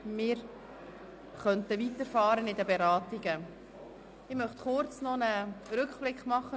Wir können mit den Beratungen fortfahren, doch vorher möchte ich noch einen kurzen Rückblick auf gestern machen.